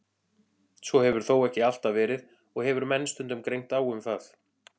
Svo hefur þó ekki alltaf verið og hefur menn stundum greint á um það.